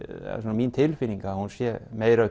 mín tilfinning að hún sé meira